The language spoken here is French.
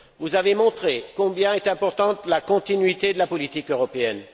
Vous avez montré combien était importante la continuité de la politique européenne.